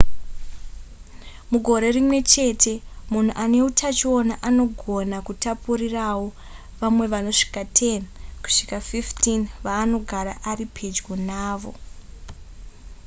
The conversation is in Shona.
mugore rimwe chete munhu ane utachiona anogona kutapurirawo vamwe vanosvika 10 kusvika 15 vaanogara ari pedyo navo